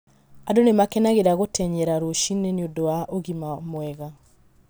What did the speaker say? Angĩ nĩ makenagĩra gũtenyera rũcinĩ nĩ ũndũ wa ũgima mwega.